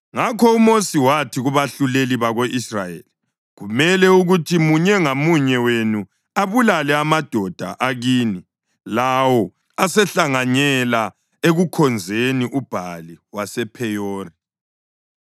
Ngakho uMosi wathi kubahluleli bako-Israyeli, “Kumele ukuthi munye ngamunye wenu abulale amadoda akini lawo asehlanganyela ekukhonzeni uBhali wasePheyori.”